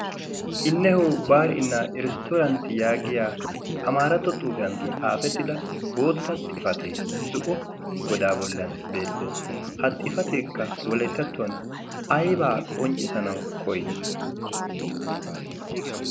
"innehoo baar7innaa eristtorantti" yaagiya amaarato xuufiyan xaafettida bootta xifatee zu7o godaa bollan beettees. ha xifateekka wolettattuwan aibaa qonccisanau koyii?